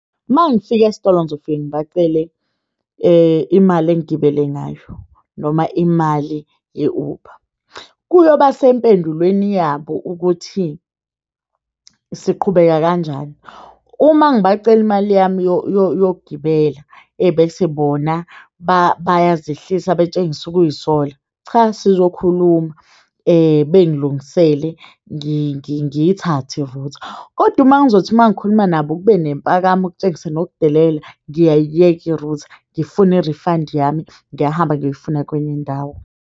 Uma ngifika esitolo ngizofike ngibacele imali engigibele ngayo noma imali ye-Uber. Kuyoba sempendulweni yabo ukuthi siqhubeka kanjani. Uma ngibacela imali yami yokugibela, ebese bona bayazehlisa betshengise ukuy'sola, cha sizokhuluma bengilungisele ngiyithathe i-router. Kodwa uma ngizothi mangikhuluma nabo kube nempakamo okutshengisa nokudicilela. Ngiyayiyeka i-router ngifuna i-refund yami, ngiyahamba ngiyoyifuna kwenye indawo.